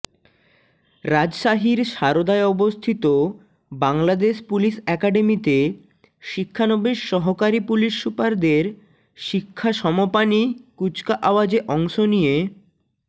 রাজশাহীর শারদায় অবস্থিত বাংলাদেশ পুলিশ একাডেমিতে শিক্ষানবিশ সহকারী পুলিশ সুপারদের শিক্ষা সমপানী কুচকাওয়াজে অংশ নিয়ে